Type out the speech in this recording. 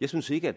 jeg synes ikke